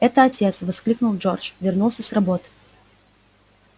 это отец воскликнул джордж вернулся с работы